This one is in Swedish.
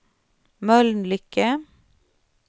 Mölnlycke